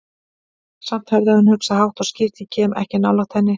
Samt hafði hann hugsað, hátt og skýrt: Ég kem ekki nálægt henni.